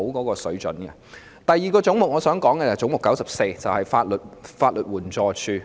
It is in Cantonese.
我想談論的第二個總目是 94， 即法律援助署。